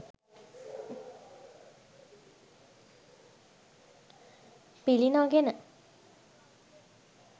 පිළි නොගෙන